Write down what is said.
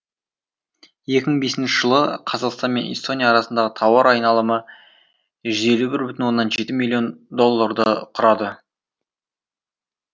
екі мың бесінші жылы қазақстан мен эстония арасындағы тауар айналымы жүз елу бір бүтін оннан жеті миллион долларды құрады